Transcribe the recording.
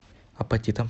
апатитам